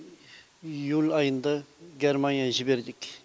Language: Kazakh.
июль айында германия жібердік